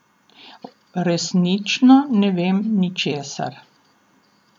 Resnično ne vem ničesar.